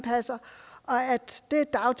og